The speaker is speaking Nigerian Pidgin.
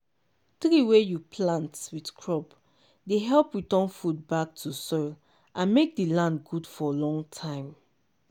tree wey you plant with crop dey help return food back to soil and make the land good for long time.